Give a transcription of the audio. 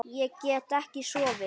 Ég get ekki sofið.